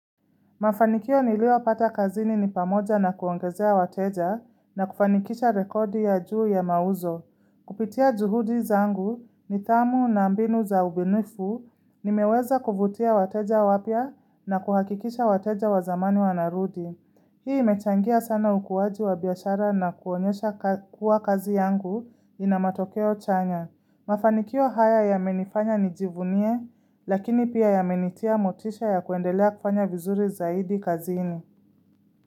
Mafanikio niliyopata kazini ni pamoja na kuongezea wateja na kufanikisha rekodi ya juu ya mauzo. Kupitia juhudi zangu nidhamu na mbinu za ubunifu nimeweza kuvutia wateja wapya na kuhakikisha wateja wa zamani wanarudi. Hii imechangia sana ukuwaji wa biashara na kuonyesha kuwa kazi yangu ina matokeo chanya. Mafanikio haya yamenifanya nijivunie, lakini pia yamenitia motisha ya kuendelea kufanya vizuri zaidi kazini.